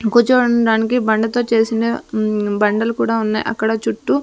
కుచోవుండానికి బండతో చేసిన ఉం బండలు కూడా ఉన్నాయ్ అక్కడ చుట్టూ--